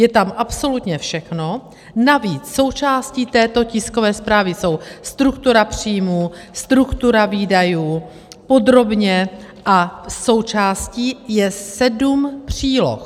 Je tam absolutně všechno, navíc součástí této tiskové zprávy jsou struktura příjmů, struktura výdajů, podrobně, a součástí je sedm příloh.